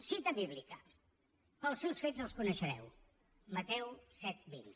cita bíblica pels seus fets els coneixereu mateu set coma vint